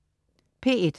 P1: